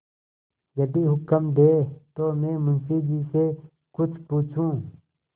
यदि हुक्म दें तो मैं मुंशी जी से कुछ पूछूँ